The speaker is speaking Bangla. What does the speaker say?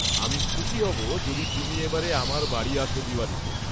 আমি খুশি হব যদি তুমি এবারে আমার বাড়ি আসো দিওয়ালীতে।